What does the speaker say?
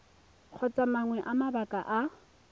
kgotsa mangwe a mabaka a